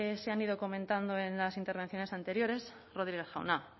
se han ido comentando en las intervenciones anteriores rodriguez jauna